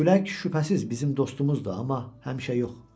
Külək şübhəsiz bizim dostumuzdur, amma həmişə yox.